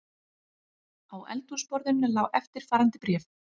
Á eldhúsborðinu lá eftirfarandi bréf